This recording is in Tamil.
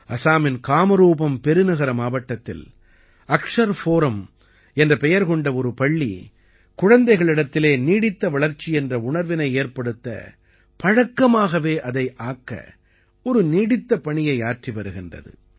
அசாமின் காமரூபம் பெருநகர மாவட்டத்தில் அக்ஷர் ஃபோரம் என்ற பெயர் கொண்ட ஒரு பள்ளி குழந்தைகளிடத்திலே நீடித்த வளர்ச்சி என்ற உணர்வினை ஏற்படுத்த பழக்கமாகவே அதை ஆக்க ஒரு நீடித்த பணியை ஆற்றி வருகிறது